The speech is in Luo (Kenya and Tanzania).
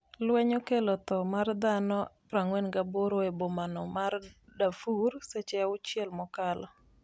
lweny okelo tho mar dhano 48 e bomano ma Darfur seche auchiel mokalo